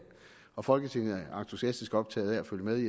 og folketinget er entusiastisk optaget af at følge med i